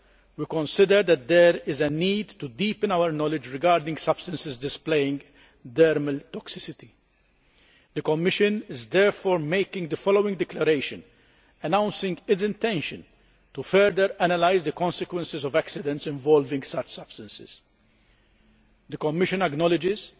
we consider that there is a need to deepen our knowledge regarding substances displaying dermal toxicity. The Commission is therefore making the following declaration, announcing its intention to further analyse the consequences of accidents involving such substances The Commission acknowledges